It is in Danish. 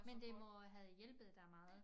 Men det må øh have hjælpet dig meget